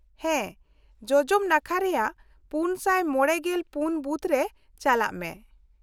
-ᱦᱮᱸ, ᱡᱚᱡᱚᱢ ᱱᱟᱠᱷᱟ ᱨᱮᱭᱟᱜ ᱔᱕᱔ ᱵᱩᱛᱷ ᱨᱮ ᱪᱟᱞᱟᱜ ᱢᱮ ᱾